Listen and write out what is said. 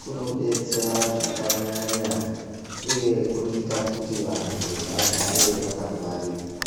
kunodetsera zvakanyanya uye kunoita kuti vantu vagare vakangwarira.